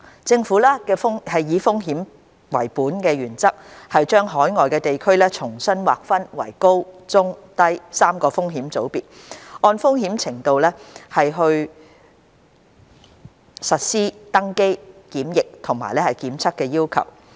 政府以風險為本為原則，把海外地區重新劃分為高、中、低3個風險組別，按風險程度實施登機、檢疫及檢測要求。